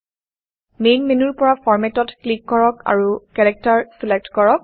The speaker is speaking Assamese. মেইন মেইন মেনুৰ পৰা ফৰমাত ফৰমেটত ক্লিক কৰক আৰু কেৰেক্টাৰ কেৰেকটাৰ চিলেক্ট কৰক